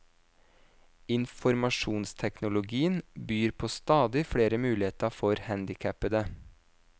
Informasjonsteknologien byr på stadig flere muligheter for handikappede.